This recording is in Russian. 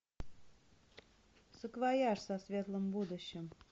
саквояж со светлым будущим